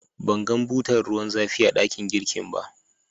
ban gan butar ruwan zafi a dakin girki ba.